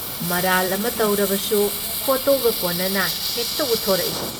ꯃꯔꯥꯜ ꯑꯃ ꯇꯧꯔꯨꯕꯁꯨ ꯐꯣꯇꯣꯒ ꯀꯣꯟꯅꯅ ꯍꯦꯛꯇ ꯎꯠꯊꯣꯔꯛꯏ ꯫